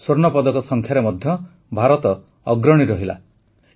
ସ୍ୱର୍ଣ୍ଣପଦକ ସଂଖ୍ୟାରେ ମଧ୍ୟ ଭାରତ ଅଗ୍ରଣୀ ରହିଲା